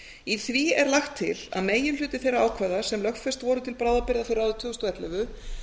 í því er lagt til að meginhluti þeirra ákvæða sem lögfest voru til bráðabirgða fyrir árið tvö þúsund og ellefu